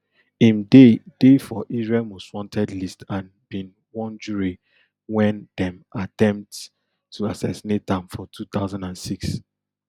im dey dey for israel mostwanted list and bin wunjure wen dem attempt to assassinate am for two thousand and six